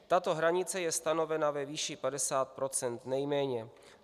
Tato hranice je stanovena ve výši 50 % nejméně.